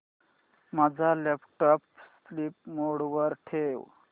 माझा laptop sleep mode वर ठेव